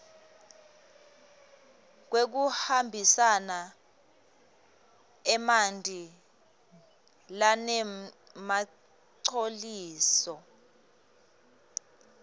wekuhambisa emanti lanemangcoliso